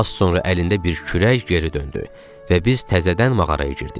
Az sonra əlində bir kürək geri döndü və biz təzədən mağaraya girdik.